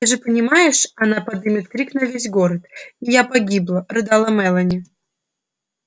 ты же понимаешь она подымет крик на весь город и я погибла рыдала мелани